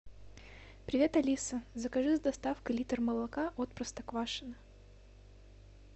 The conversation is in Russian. привет алиса закажи с доставкой литр молока от простоквашино